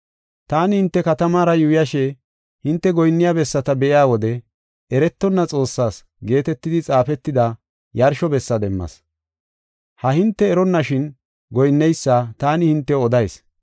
Taani hinte katamaara yuuyashe hinte goyinniya bessata be7iya wode, ‘Eretonna Xoossaas’ geetetidi xaafetida yarsho bessa demmas. Ha hinte eronnashin goyinneysa taani hintew odayis.